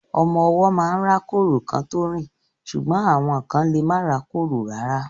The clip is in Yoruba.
Ọmọ ọwọ́ máa ń rákórò kán tó rìn ṣùgbọ́n àwọn kán lemá rákórò rárá.